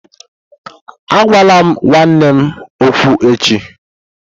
Agwala nwanne m okwu echi!